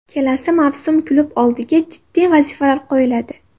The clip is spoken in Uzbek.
Kelasi mavsum klub oldiga jiddiy vazifalar qo‘yiladi.